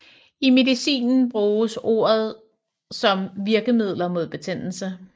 I medicinen bruges ordet om virkemidler mod betændelse